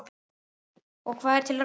Og hvað er til ráða?